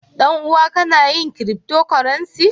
Dan-uwan ka Yana yin "cryptocurrency"?